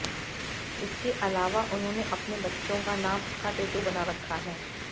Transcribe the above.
इसके अलावा उन्होंने अपने बच्चों का नाम का टैटू बना रखा है